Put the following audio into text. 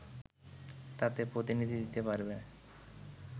তাতে প্রতিনিধি দিতে পারবে